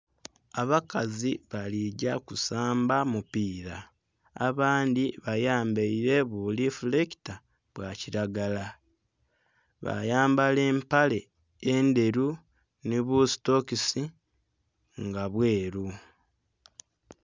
Abakazi bali gya kusamba mupiira, abandhi bayambaile bu lifulekita bwa kilagala, bayambala empale endhelu nhi bu sitokisi nga bweru.